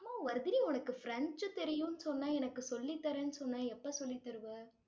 ஆமா, வர்திரி உனக்கு பிரெஞ்சு தெரியும்ன்னு சொன்னேன் எனக்கு சொல்லித்தரேன்னு சொன்னே எப்ப சொல்லித் தருவ?